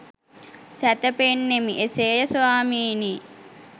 සැතැපෙන්නෙමි.” “එසේ ය ස්වාමීනී” යි